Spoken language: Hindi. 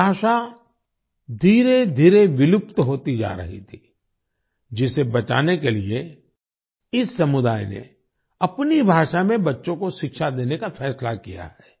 ये भाषा धीरेधीरे विलुप्त होती जा रही थी जिसे बचाने के लिए इस समुदाय ने अपनी भाषा में बच्चों को शिक्षा देने का फैसला किया है